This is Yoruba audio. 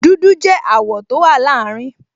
Dúdú jẹ́ àwọ̀ tó wà láàrin